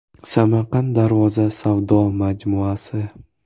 Samarqand Darvoza savdo majmuasi.